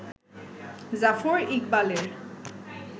জাফর ইকবালের